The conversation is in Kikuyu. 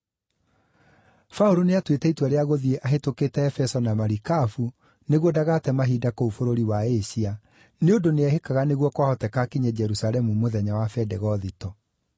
Paũlũ nĩatuĩte itua rĩa gũthiĩ ahĩtũkĩte Efeso na marikabu nĩguo ndagate mahinda kũu bũrũri wa Asia, nĩ ũndũ nĩehĩkaga nĩguo kwahoteka akinye Jerusalemu, mũthenya wa Bendegothito.